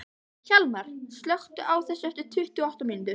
Hjalmar, slökktu á þessu eftir tuttugu og átta mínútur.